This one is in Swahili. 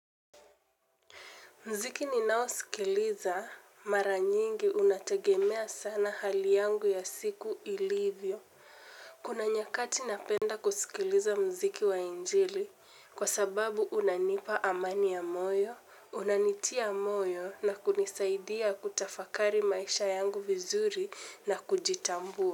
Muziki ninao sikiliza mara nyingi unategemea sana hali yangu ya siku ilivyo. Kuna nyakati napenda kusikiliza muziki wa injili kwa sababu unanipa amani ya moyo, unanitia moyo na kunisaidia kutafakari maisha yangu vizuri na kujitambua.